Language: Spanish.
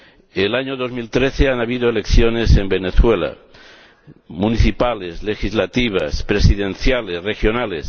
En el año 2013 ha habido elecciones en Venezuela municipales, legislativas, presidenciales, regionales.